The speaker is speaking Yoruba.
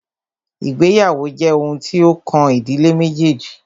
Ìgbéyàwó jẹ́ oun tí o kàn ìdílé méjèèjì.